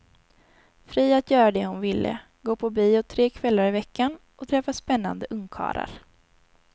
Fri att göra det hon ville, gå på bio tre kvällar i veckan och träffa spännande ungkarlar.